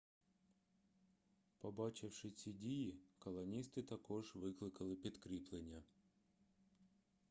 побачивши ці дії колоністи також викликали підкріплення